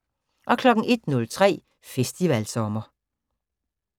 01:03: Festivalsommer